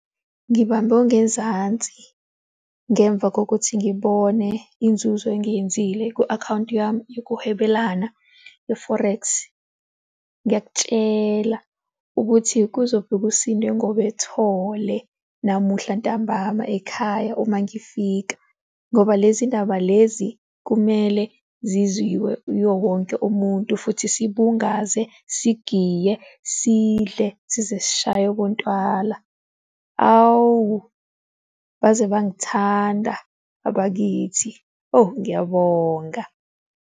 Ngibambe ongezansi ngemva kokuthi ngibone inzuzo engiyenzile ku-akhawunti yami yokuhwebelana ye-forex. Ngiyakutshela ukuthi kuzofika usindwe ngobethole namuhla ntambama ekhaya uma ngifika ngoba lezi ndaba lezi kumele ziziwe uyo wonke umuntu futhi sibungaze, sigiye, sidle sizesishaye obontwala. Awu baze bangithanda abakithi. Oh, ngiyabonga.